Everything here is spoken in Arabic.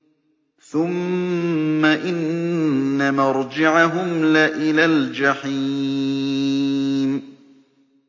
ثُمَّ إِنَّ مَرْجِعَهُمْ لَإِلَى الْجَحِيمِ